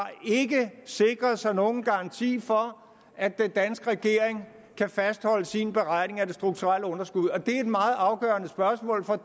sikret sig nogen garanti for at den danske regering kan fastholde sin beregning af det strukturelle underskud det er et meget afgørende spørgsmål for